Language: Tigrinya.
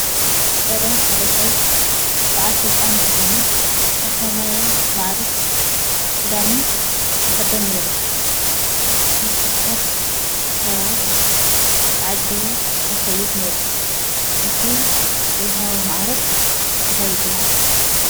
ቀደም ሓደ ሰብ ብዓል ስልጣን እንተኾይኑ ዝተፈለየ ማዕርግ ክዳንን ይኽደን ነይሩ፡፡ ምስ ብዙሓት ሰባት ተዓጂቡ ይኸይድ ነይሩ፡፡ እቲ ዝወሃቦ ማዕርግ እንታይ ይበሃል?